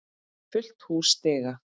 Fullt hús stiga.